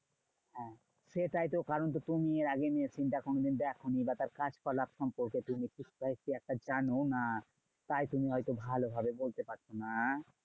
হ্যাঁ সেটাই তো কারণ। তো তুমি এরআগে machine টা কোনোদিন দেখোনি বা তার কার্যকলাপ সম্পর্কে তুমি একটু slightly একটা জানো না। তাই তুমি হয়তো ভালো ভাবে বলতে পারছো না।